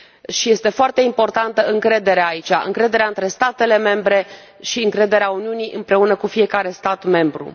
Și este foarte importantă încrederea, aici încrederea între statele membre și încrederea Uniunii în fiecare stat membru.